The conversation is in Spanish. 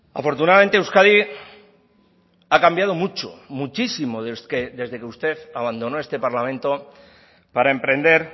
afortunadamente euskadi ha cambiado mucho muchísimo desde que usted abandonó este parlamento para emprender